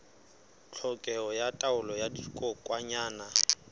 tlhokeho ya taolo ya dikokwanyana